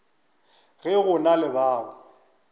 ge go na le bao